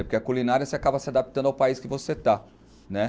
Porque a culinária você acaba se adaptando ao país que você está. né